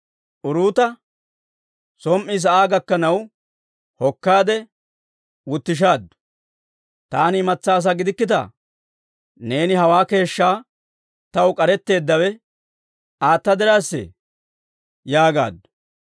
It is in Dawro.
Uruuta som"i sa'aa gakkanaw hokkaade wutishaaddu; «Taani imatsaa asaa gidikkittaa? Neeni hawaa keeshshaa taw k'aretteeddawe ayaa diraassee?» yaagaaddu.